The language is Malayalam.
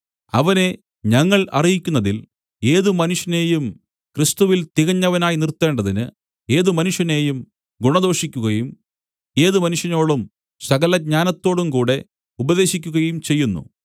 അവനെ ഞങ്ങൾ അറിയിക്കുന്നതിൽ ഏത് മനുഷ്യനേയും ക്രിസ്തുവിൽ തികഞ്ഞവനായി നിർത്തേണ്ടതിന് ഏത് മനുഷ്യനേയും ഗുണദോഷിക്കുകയും ഏത് മനുഷ്യനോടും സകലജ്ഞാനത്തോടും കൂടെ ഉപദേശിക്കുകയും ചെയ്യുന്നു